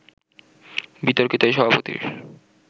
বিতর্কিত এই সভাপতির